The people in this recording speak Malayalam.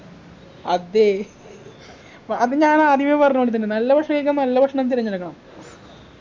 അതെ പൊ അത് ഞാനാദ്യമേ പറഞ്ഞപോലെത്തന്നെ നല്ല ഭക്ഷണം കഴിക്കാൻ നല്ല ഭക്ഷണം തിരഞ്ഞെടുക്കണം